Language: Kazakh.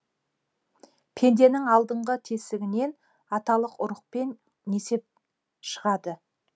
пенденің алдыңғы тесігінен аталық ұрық пен несеп шығады